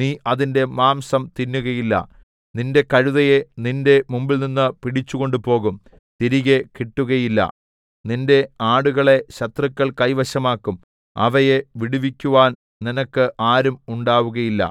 നീ അതിന്റെ മാംസം തിന്നുകയില്ല നിന്റെ കഴുതയെ നിന്റെ മുമ്പിൽനിന്നു പിടിച്ചു കൊണ്ടുപോകും തിരികെ കിട്ടുകയില്ല നിന്റെ ആടുകളെ ശത്രുക്കൾ കൈവശമാകും അവയെ വിടുവിക്കുവാൻ നിനക്ക് ആരും ഉണ്ടാകുകയില്ല